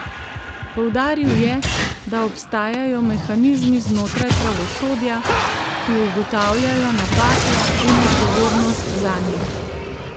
Poudaril je, da obstajajo mehanizmi znotraj pravosodja, ki ugotavljajo napake in odgovornost zanje.